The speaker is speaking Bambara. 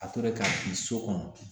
A tora k'a ci so kɔnɔ